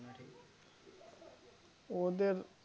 ওদের